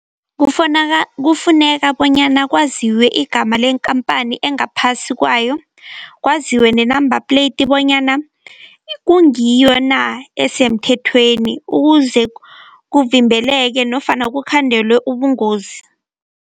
Kufuneka bonyana kwaziwe igama lekampani engaphasi kwayo, kwaziwe nenambapleyidi bonyana kungiyo na, esemthethweni. Ukuze kuvimbeleke nofana kukhandelwe ubungozi.